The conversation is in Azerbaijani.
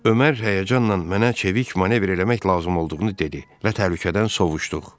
Ömər həyəcanla mənə çevik manevr eləmək lazım olduğunu dedi və təhlükədən sovuşduq.